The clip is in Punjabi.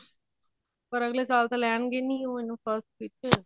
ਪਰ ਅੱਗਲੇ ਸਾਲ ਤਾਂ ਲੈਣਗੇ ਨੀ ਉਹ ਇਹਨੂੰ first ਵਿੱਚ ਹਮ